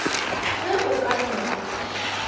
ge o ka no ba